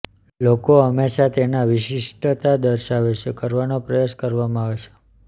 લોકો હંમેશા તેના વિશિષ્ટતા દર્શાવે છે કરવાનો પ્રયાસ કરવામાં આવે છે